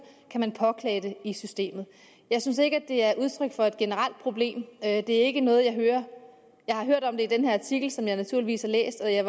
kan man påklage det i systemet jeg synes ikke det er udtryk for et generelt problem det er ikke noget jeg hører jeg har hørt om det med den her artikel som jeg naturligvis har læst jeg